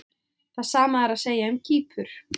Það sama er að segja um Kýpur.